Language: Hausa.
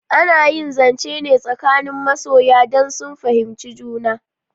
Ana yi zance ne tsakanin masoya dan sun fahimci juna